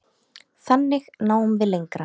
Þannig náum við lengra.